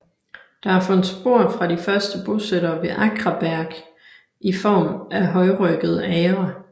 Der er fundet spor fra de første bosættere ved Akraberg i form af højryggede agre